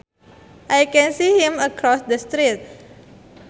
I can see him across the street